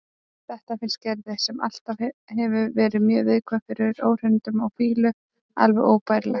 Þetta finnst Gerði, sem alltaf hefur verið mjög viðkvæm fyrir óhreinindum og fýlu, alveg óbærilegt.